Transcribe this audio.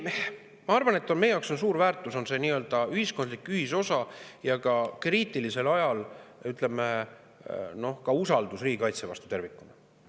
Ma arvan, et meie jaoks on suur väärtus see nii-öelda ühiskondlik ühisosa, ja kriitilisel ajal, ütleme, ka usaldus riigikaitse vastu tervikuna.